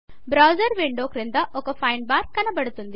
browser window క్రింద ఒక find bar కనపడుతుంది